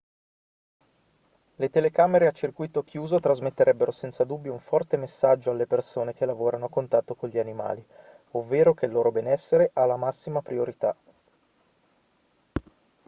le telecamere a circuito chiuso trasmetterebbero senza dubbio un forte messaggio alle persone che lavorano a contatto con gli animali ovvero che il loro benessere ha la massima priorità